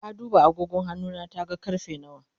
ta duba agogon hannuna ta ga karfe nawa